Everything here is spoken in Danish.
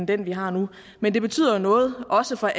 den vi har nu men det betyder jo noget også for